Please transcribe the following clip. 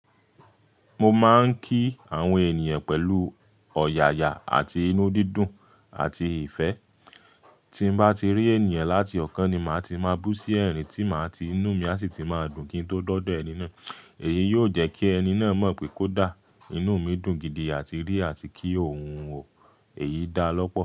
Mo máa ń kí àwọn ènìyàn pẹ̀lú ọ̀yàyà àti inú dídùn àti ìfẹ́. Tí n bá ti rí ènìyàn láti ọ̀kan ni màá ti máa bú sí ẹ̀rín tí màá ti inú mi a sì ti máa dùn kí n tó de odo ẹní na. Èyí yóò jẹ́ kí ẹni náà mọ̀ pé kò dà, inú mi dùn gidi àti rí àti kí ohun wọ̀. Èyí dà lọ́pọ̀